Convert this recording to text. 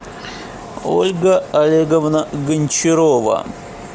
ольга олеговна гончарова